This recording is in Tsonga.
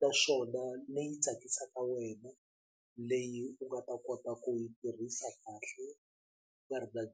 naswona leyi tsakisaka wena leyi u nga ta kota ku yi tirhisa kahle nga ri na .